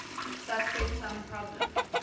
subset sum problem